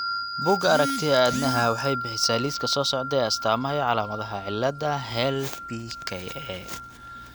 Bugga Aaragtiyaha Aadanaha waxay bixisaa liiska soo socda ee astaamaha iyo calaamadaha cillada HELLPka.